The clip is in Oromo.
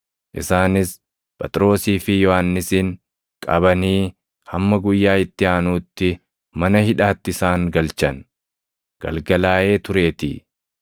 Isaanis Phexrosii fi Yohannisin qabanii hamma guyyaa itti aanuutti mana hidhaatti isaan galchan; galgalaaʼee tureetii.